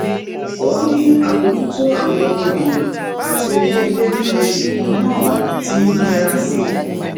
ó ní àbójútó àwọn ohun èlò àti owó ilé ní oṣù kan náà ti ń nira sí i